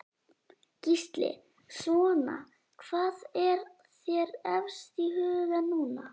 Gísli: Svona hvað er þér efst í huga núna?